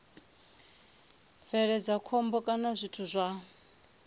bveledza khombo kana zwithu zwa